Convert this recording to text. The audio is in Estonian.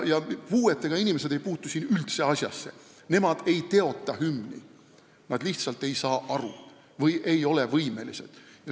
Ja puuetega inimesed ei puutu üldse asjasse: nemad ei teota hümni, nad lihtsalt ei saa asjast aru või ei ole võimelised midagi tegema.